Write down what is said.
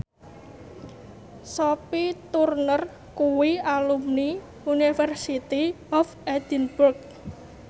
Sophie Turner kuwi alumni University of Edinburgh